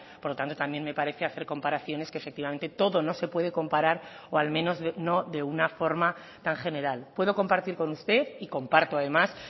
por lo tanto también me parece hacer comparaciones que efectivamente todo no se puede comparar o al menos no de una forma tan general puedo compartir con usted y comparto además